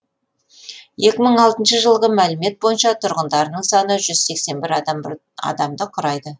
екі мың алтыншы жылғы мәлімет бойынша тұрғындарының саны жүз сексен бір адамды құрайды